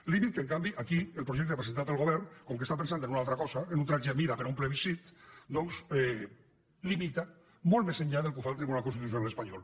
límit que en canvi aquí el projecte presentat pel govern com que està pensant en una altra cosa en un vestit a mida per a un plebiscit doncs limita molt més enllà del que ho fa el tribunal constitucional espanyol